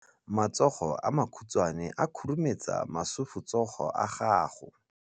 Matsogo a makhutshwane a khurumetsa masufutsogo a gago.